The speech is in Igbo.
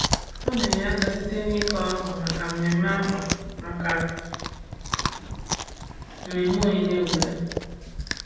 Ọ na-enye aka site n’ịkụ akwa maka mmemme akwa maka mmemme onyinye obodo.